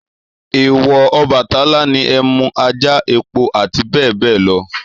Èwọ̀ Ọbàtálá ni ẹmú, ajá, epo àti bẹ́ẹ̀ bẹ́ẹ̀ lọ.